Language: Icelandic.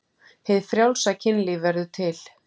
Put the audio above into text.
Hið frjálsa kynlíf verður til.